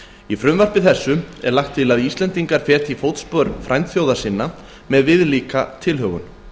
í frumvarpi þessu er lagt til að íslendingar feti í fótspor frændþjóða sinna með viðlíka tilhögun